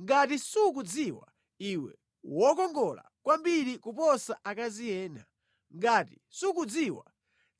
Ngati sukudziwa iwe wokongola kwambiri kuposa akazi ena, ngati sukudziwa,